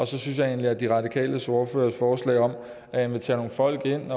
så synes jeg egentlig at de radikales ordførers forslag om at invitere nogle folk ind